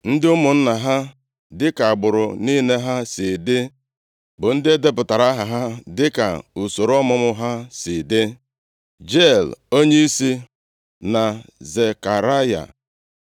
Ndị ụmụnna ha dịka agbụrụ niile ha si dị, bụ ndị e depụtara aha ha dịka usoro ọmụmụ ha si dị; Jeiel onyeisi, na Zekaraya,